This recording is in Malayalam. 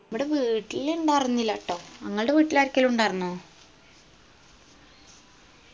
ഇവ്‌ട വീട്ടിലിണ്ടായിർന്നില്ല ട്ടോ ങ്ങൾടെ വീട്ടിലാരിക്കേലും ഉണ്ടാർന്നോ